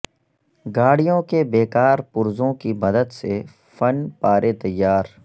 گاڑیوں کے بےکار پرزوں کی مدد سے فن پارے تیار